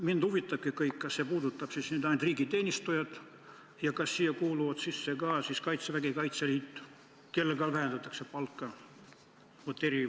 Mind huvitabki, kas see puudutab ainult riigiteenistujaid ja kas siia kuuluvad sisse ka Kaitsevägi ja Kaitseliit, kus eri- või sõjaolukorras palka vähendatakse.